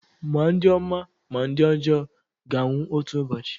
ma ndị ọma ma ndị ọjọọ ga-anwụ otu ụbọchị